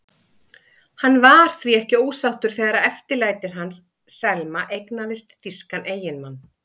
Hann var því ekki ósáttur þegar eftirlætið hans, Selma, eignaðist þýskan eiginmann.